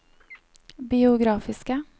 biografiske